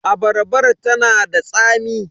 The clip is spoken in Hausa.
Abarbar ta na da tsami.